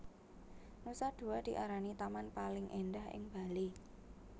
Nusa Dua diarani taman paling endah ing Bali